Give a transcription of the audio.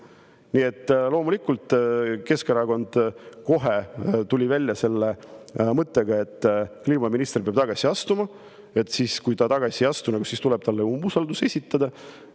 Nii et loomulikult Keskerakond kohe tuli välja mõttega, et kliimaminister peab tagasi astuma ja kui ta tagasi ei astu, siis tuleb talle umbusaldus esitada.